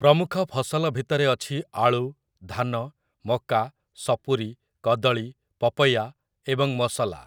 ପ୍ରମୁଖ ଫସଲ ଭିତରେ ଅଛି ଆଳୁ, ଧାନ, ମକା, ସପୁରି, କଦଳୀ, ପପୟା ଏବଂ ମସଲା ।